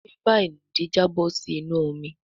bébà ìnùdí Jabo sí inú omí.